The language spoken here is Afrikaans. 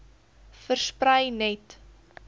versprei net